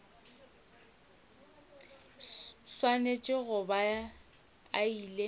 swanetše go ba a ile